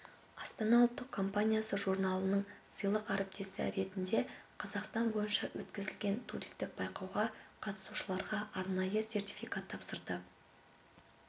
астана ұлттық компаниясы журналының сыйлық әріптесі ретінде қазақстан бойынша өткізілген туристік байқауға қатысушыларға арнайы сертификат тапсырды